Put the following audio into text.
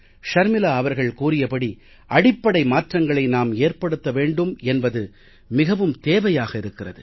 ஷர்மிலா அவர்கள் கூறியபடி அடிப்படை மாற்றங்களை நாம் ஏற்படுத்த வேண்டும் என்பது மிகவும் தேவையாக இருக்கிறது